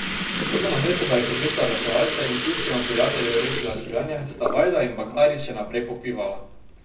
Toda namesto da bi poklicala reševalce in pivskemu prijatelju rešila življenje, sta Vajda in Bagari še naprej popivala.